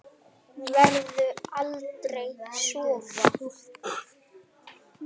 Verður aldrei svarað.